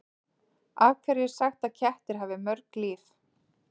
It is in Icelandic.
Af hverju er sagt að kettir hafi mörg líf?